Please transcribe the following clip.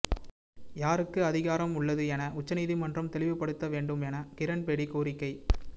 யாருக்கு அதிகாரம் உள்ளது என உச்சநீதிமன்றம் தெளிவுப்படுத்த வேண்டும் என கிரண்பேடி கோரிக்கை